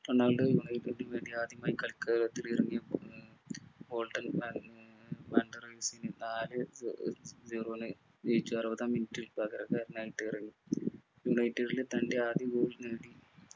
Ronaldo united നു വേണ്ടി ആദ്യമായി കളിക്കളത്തിലിറങ്ങിയപ്പോൾ ഉം ഉം നാല് ഏർ ഏർ zero നു ജയിച്ചു അറുപതാം minute ൽ പകരക്കാരനായിട്ട് ഇറങ്ങി united ലെ തൻറെ ആദ്യ goal നേടി